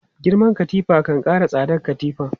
Girman katifa kan kara tsadar katifan.